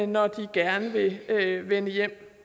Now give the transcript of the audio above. når de gerne vil vende hjem